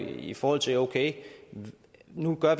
er i forhold til at vi nu gør